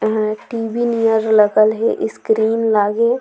अर TV near लगल है screen लागे--